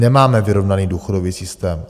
Nemáme vyrovnaný důchodový systém.